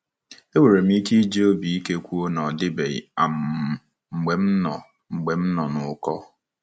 Enwere m ike iji obi ike kwuo na ọ dịbeghị um mgbe m nọ mgbe m nọ n'ụkọ.